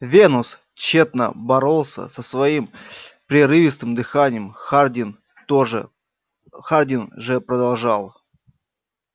венус тщетно боролся со своим прерывистым дыханием хардин тоже хардин же продолжал